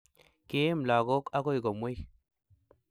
kiim lakoik akoi komwei